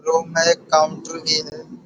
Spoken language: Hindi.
रूम में एक काउंटर भी है।